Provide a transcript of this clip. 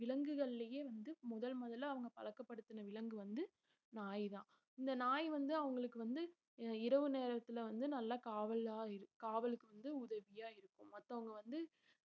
விலங்குகள்லயே வந்து முதல் முதல்ல அவங்க பழக்கப்படுத்தின விலங்கு வந்து நாய்தான் இந்த நாய் வந்து அவங்களுக்கு வந்து இரவு நேரத்துல வந்து நல்லா காவலா இருக்~ காவலுக்கு வந்து உதவியா இருக்கும் மத்தவங்க வந்து